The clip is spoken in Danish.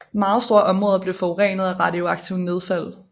Meget store områder blev forurenet af radioaktivt nedfald